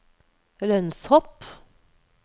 lønnshopp